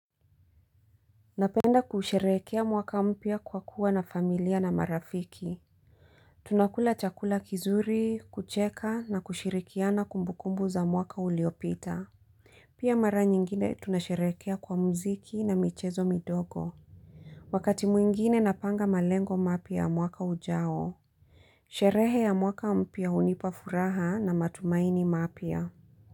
Napenda kusherehekea mwaka mpya, kwa kuwa na familia na marafiki. Tunakula chakula kizuri, kucheka na kushirikiana kumbukumbu za mwaka uliopita. Pia mara nyingine tunasherehekea kwa muziki na michezo midogo. Wakati mwingine napanga malengo mapya, mwaka ujao. Sherehe ya mwaka mpya hunipa furaha na matumaini mapya.